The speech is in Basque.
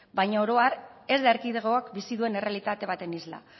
baina oro har ez da erkidegoak bizi duen errealitate baten isla